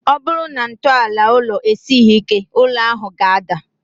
Ọ bụrụ na ntọala ụlọ esighi ike, ụlọ ahụ ga-ada